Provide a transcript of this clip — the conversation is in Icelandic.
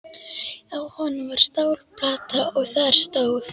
Á honum var stálplata og þar stóð: